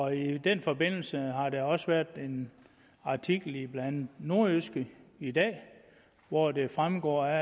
i den forbindelse har der også været en artikel i blandt andet nordjyske i dag hvoraf det fremgår at